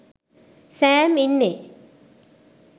Sam ඉන්නේ